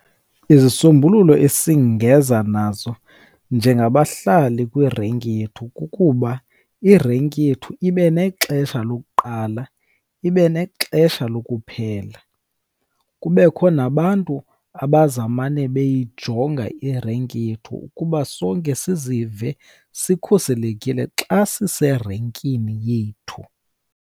Izisombululo esingeza nazo njengabahlali kwirenki yethu kukuba irenki yethu ibe nexesha lokuqala, ibe nexesha lokuphela. Kubekho nabantu abazawumane beyijonga irenki yethu ukuba sonke sizive sikhuselekile xa siserenkini yethu.